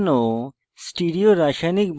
বন্ধন সাজানো